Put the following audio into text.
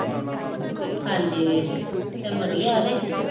ਹਾਂਜੀ ਚੱਲ ਵਧੀਆ ਐ ਤੇ